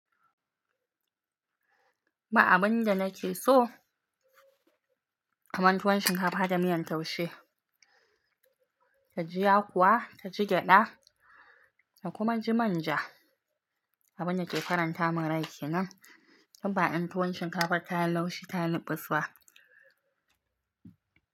Ba abun da nake so. Kaman tuwon shinkafa da miyan taushe, ta ji yakuwa, ta ji gyada da kuma ya ji manja. Abun naƙe faranta mun rai kenan. Inba in tuwon shinkafar ta yi laushi ta yi fusfa.